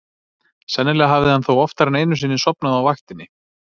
Sennilega hafði hann þó oftar en einu sinni sofnað á vaktinni.